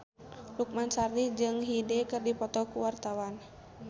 Lukman Sardi jeung Hyde keur dipoto ku wartawan